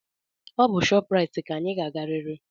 Ọ bụ shoprite ka anyị ga-agarịrị!